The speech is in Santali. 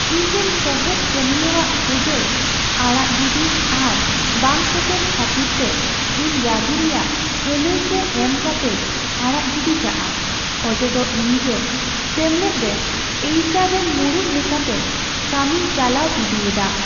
ᱤᱧ ᱨᱮᱱ ᱥᱚᱦᱮᱫ ᱠᱟᱹᱢᱤᱭᱟᱹᱣᱟᱜ ᱦᱩᱫᱟᱹ ᱟᱲᱟᱜ ᱜᱤᱰᱤ ᱟᱨ ᱵᱟᱝ ᱥᱮᱴᱮᱨ ᱠᱷᱟᱹᱛᱤᱨᱛᱮ ᱤᱧ ᱨᱟᱹᱜᱤ ᱨᱮᱭᱟᱜ ᱟᱹᱱᱟᱹᱭᱠᱟᱣ ᱮᱢ ᱠᱟᱛᱮᱭ ᱟᱲᱟᱜ ᱜᱤᱰᱤ ᱠᱟᱜᱼᱟ ᱚᱡᱮᱫᱚ ᱤᱧ ᱜᱮ ᱥᱮᱢᱞᱮᱫ ᱨᱮ ᱮᱭᱤᱪ ᱟᱨ ᱨᱮᱱ ᱢᱩᱲᱩᱫ ᱞᱮᱠᱟᱛᱮ ᱠᱟᱹᱢᱤᱧ ᱪᱟᱞᱟᱣ ᱤᱫᱤᱭᱮᱫᱟ ᱾